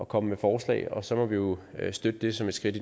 komme med forslag og så må vi jo støtte det som et skridt